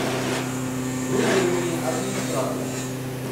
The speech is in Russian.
вызови мне администратора